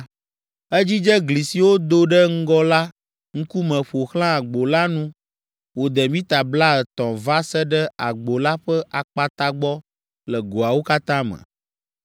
Edzidze gli siwo do ɖe ŋgɔ la ŋkume ƒo xlã agbo la nu wòde mita blaetɔ̃ va se ɖe agbo la ƒe akpata gbɔ le goawo katã me.